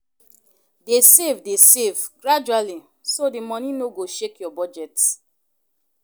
Dey save Dey save gradually so the money no go shake your budget.